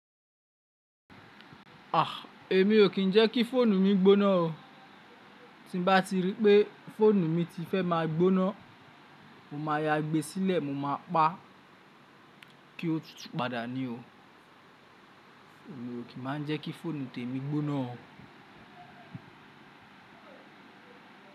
À, èmi ò kí ń jẹ́ kí fóònù mi gbóná o. Tí bá ti rí pé fóònù mi ti fẹ́ má a gbóná, mo máa ya gbe sílẹ̀ mo máa pa, kí ó tútù padà ni o. Èmi ò kí má ń jẹ́ kí fóònù tèmi gbóná o.